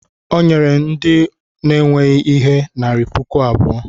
o nyere ndị ọ na-enweghị ihe narị puku abụọ